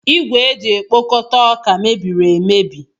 Igwe eji ekpokọta ọka mebiri emebi.